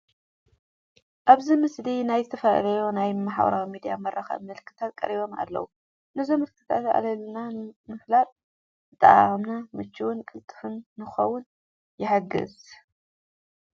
ኣብዚ ምስሊ ናይ ዝተፈላለዩ ናይ ማህበራዊ ሚድያ መራኸቢ ምልክታት ቀሪቦም ኣለዉ፡፡ ነዞም ምልክታት ኣለለና ምፍላጥ ኣጠቓቕማና ምችውን ቅልጡፍን ንኽኸውን ይሕግዝ፡፡